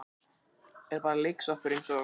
Er bara leiksoppur eins og